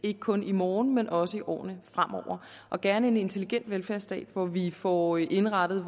ikke kun i morgen men også i årene fremover gerne en intelligent velfærdsstat hvor vi får indrettet